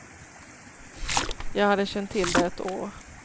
Jag hade känt till det ett år.